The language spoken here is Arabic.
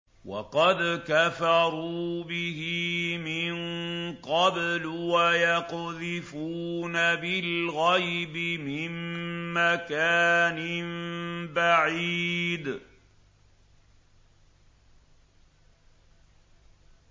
وَقَدْ كَفَرُوا بِهِ مِن قَبْلُ ۖ وَيَقْذِفُونَ بِالْغَيْبِ مِن مَّكَانٍ بَعِيدٍ